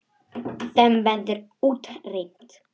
Þeim verður útrýmt.